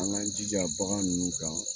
An ka jija bagan ninnu kan